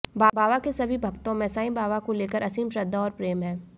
बाबा के सभी भक्तों में साई बाबा को लेकर असीम श्रद्धा और प्रेम हैं